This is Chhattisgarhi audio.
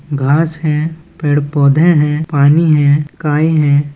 घास है पेड़-पौधे है पानी है काई है।